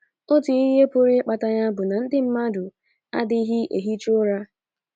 Otu ihe pụrụ ịkpata ya bụ na ndị mmadụ adịghị ehicha ụra.